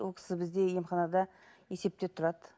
ол кісі бізде емханада есепте тұрады